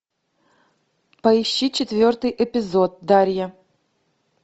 поищи четвертый эпизод дарья